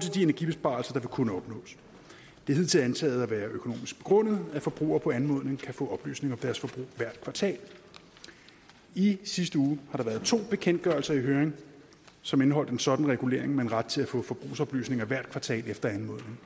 til de energibesparelser der vil kunne opnås det er hidtil antaget at være økonomisk begrundet at forbrugere på anmodning kan få oplysning om deres forbrug hvert kvartal i sidste uge har der været to bekendtgørelser i høring som indeholdt en sådan regulering med en ret til at få forbrugsoplysninger hvert kvartal efter anmodning